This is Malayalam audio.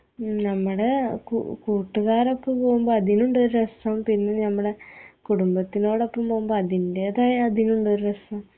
ഞമ്മടെ കൂ കൂട്ടുകാരപ്പം പോവുമ്പോ അതിലുണ്ടൊരു രസം പിന്നെ ഞമ്മളെ കുടുംബത്തിനോടപ്പം പോവുമ്പോ അതിൻറേതായ അതിലുള്ളൊരു രസം